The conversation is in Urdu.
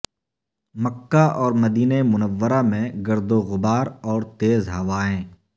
مکہ اور مدینہ منورہ میں گرد وغبار اور تیز ہوائیں